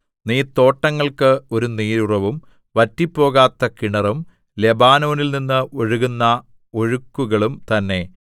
നീ തോട്ടങ്ങൾക്ക് ഒരു നീരുറവും വറ്റിപ്പോകാത്ത കിണറും ലെബാനോനിൽനിന്ന് ഒഴുകുന്ന ഒഴുക്കുകളും തന്നെ